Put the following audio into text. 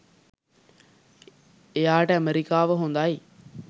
එයාට ඇමෙරිකාව හොඳයි